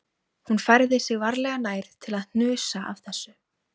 Hún færði sig varlega nær til að hnusa af þessu